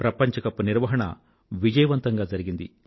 ప్రపంచ కప్ నిర్వాహణ విజయవంతంగా జరిగింది